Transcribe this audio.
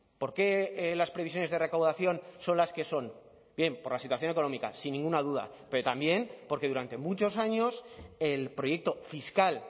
por qué las previsiones de recaudación son las que son bien por la situación económica sin ninguna duda pero también porque durante muchos años el proyecto fiscal